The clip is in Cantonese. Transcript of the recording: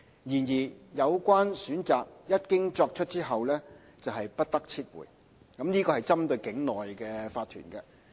然而，有關選擇一經作出便不得撤回，這是針對境內的法團。